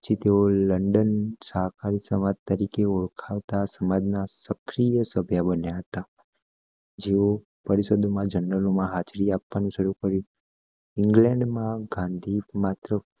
પછી તેઓ લન્ડન સહકાહારી સમાજ તરીકે ઓળખતા સમાજ ના સાક્ષીય સંભ્ય બન્યા હતા જેઓ પરિષદો માં ગેનેરાલો માં હાજરી આપવાનું શરૂ કર્યું ઇંગ્લેન્ડ માં ગાંધી માત્ર